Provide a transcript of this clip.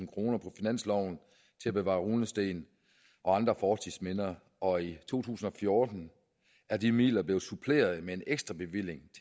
kroner på finansloven til at bevare runesten og andre fortidsminder og i to tusind og fjorten er de midler blevet suppleret med en ekstrabevilling